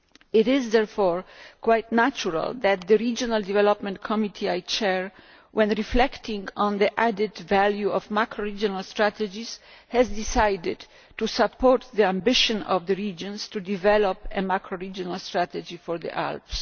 It is therefore quite natural that the Committee on Regional Development which I chair, when reflecting on the added value of macro regional strategies has decided to support the ambition of the regions to develop a macro regional strategy for the Alps.